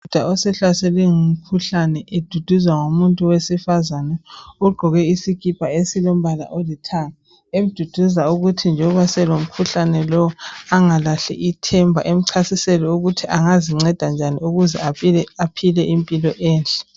Undoda osehlaselwe ngumkhuhlane eduduzwa ngomuntu wesifazane ogqoke isikipa esilombala olithanga, emduduza ukuthi loba selomkhuhlane lo angalahli ithemba emchasisela ukuthi angazinceda njani ukuze aphile impilo enhle.